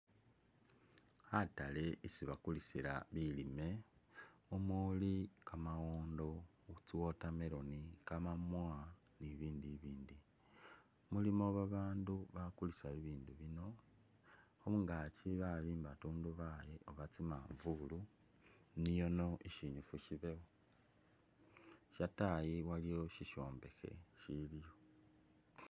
Khatale isi bakulisila bilimwa muli kamawondo, tsi'watermelon, kamamwa ni bibindu bibindi, mulimo babandu bakulisa bibindu bino, khungaaki babimba ntundubali oba tsimanvulu niono sinyifu sibewo shatayi waliwo shishombekhe siliwo